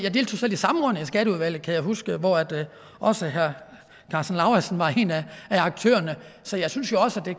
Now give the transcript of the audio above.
skatteudvalget kan jeg huske hvor også herre karsten lauritzen var en af aktørerne så jeg synes jo også at det